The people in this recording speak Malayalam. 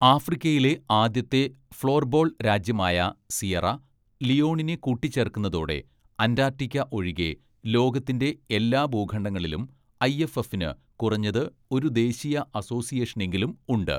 ആഫ്രിക്കയിലെ ആദ്യത്തെ ഫ്ലോർബോൾ രാജ്യമായ സിയറ ലിയോണിനെ കൂട്ടിച്ചേർക്കുന്നതോടെ അന്റാർട്ടിക്ക ഒഴികെ ലോകത്തിന്റെ എല്ലാ ഭൂഖണ്ഡങ്ങളിലും ഐഎഫ്എഫിന് കുറഞ്ഞത് ഒരു ദേശീയ അസോസിയേഷനെങ്കിലും ഉണ്ട്.